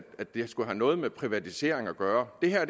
at det skulle have noget med privatisering at gøre det her er